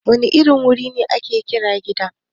Wane irin wuri ne ake kira Gida?